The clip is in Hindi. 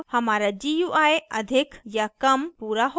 अब हमारा gui अधिक या कम पूरा हो चुका है